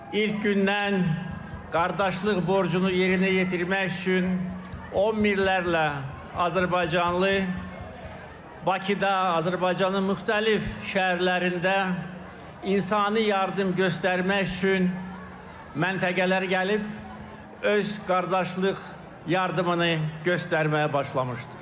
İlk gündən qardaşlıq borcunu yerinə yetirmək üçün on minlərlə azərbaycanlı Bakıda, Azərbaycanın müxtəlif şəhərlərində insani yardım göstərmək üçün məntəqələrə gəlib, öz qardaşlıq yardımını göstərməyə başlamışdı.